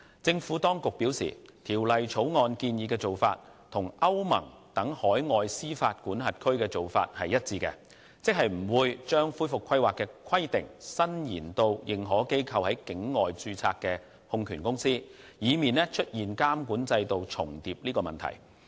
政府當局表示，《條例草案》建議的做法與歐盟等海外司法管轄區的做法一致，即不會把恢復規劃的規定伸延至認可機構在境外註冊的控權公司，以免出現監管制度重疊的問題。